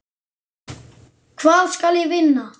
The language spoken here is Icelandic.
Hvað skal ég vinna?